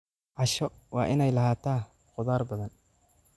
Casho waa inay lahaataa khudaar badan.